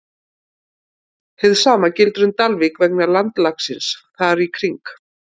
Hið sama gildir um Dalvík vegna landslagsins þar í kring.